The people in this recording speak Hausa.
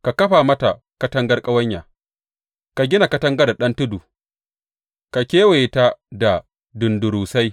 Ka kafa mata katangar ƙawanya, ka gina katangar da ɗan tudu ka kewaye ta da dundurusai.